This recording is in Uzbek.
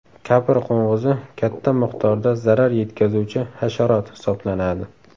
Kapr qo‘ng‘izi katta miqdorda zarar yetkazuvchi hasharot hisoblanadi.